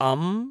अं